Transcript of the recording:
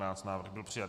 Návrh byl přijat.